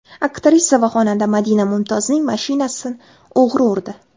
Aktrisa va xonanda Madina Mumtozning mashinasini o‘g‘ri urdi.